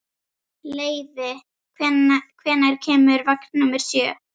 Leivi, hvenær kemur vagn númer sjö?